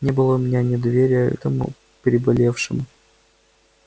не было у меня недоверия этому переболевшему